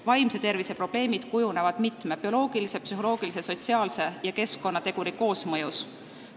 Vaimse tervise probleemid kujunevad bioloogilise, psühholoogilise, sotsiaalse ja keskkonnateguri koosmõjus.